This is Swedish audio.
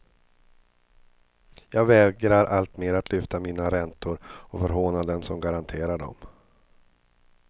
Jag vägrar alltmer att lyfta mina räntor och förhåna dem som garanterar dem.